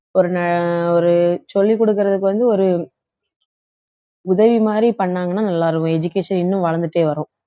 ஒரு ந~ ஒரு சொல்லிக் கொடுக்கிறதுக்கு வந்து ஒரு உதவி மாதிரி பண்ணாங்கன்னா நல்லா இருக்கும் education இன்னும் வளர்ந்துட்டே வரும்